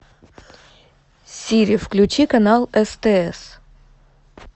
сири включи канал стс